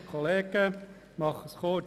Ich fasse mich kurz: